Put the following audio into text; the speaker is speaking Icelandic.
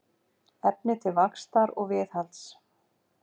Efni til vaxtar og viðhalds.